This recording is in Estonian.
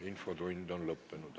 Infotund on lõppenud.